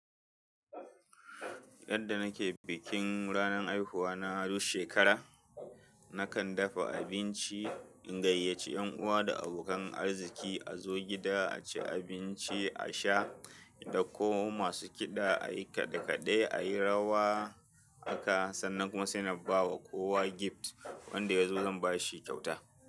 Yadda nake bikin ranan haihuwa na duk shekara, nakan dafa abinci in gayyace yan uwa da abokan arziki a zo gida a ci abinci, a sha, da ko masu kiɗa a yi kaɗe-kaɗe a yi rawa haka sannan kuma sai na ba kowa gift wanda ya zo zan ba shi kyauta.